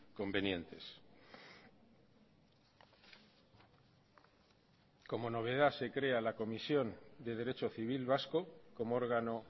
convenientes como novedad se crea la comisión de derecho civil vasco como órgano